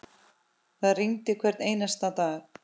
Það rigndi hvern einasta dag.